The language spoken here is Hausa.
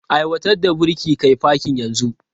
Aiwatar da birki kai fakin yanzu!